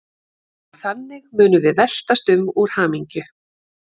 Og þannig munum við veltast um úr hamingju.